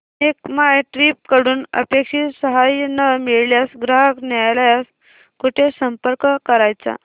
make माय trip कडून अपेक्षित सहाय्य न मिळाल्यास ग्राहक न्यायालयास कुठे संपर्क करायचा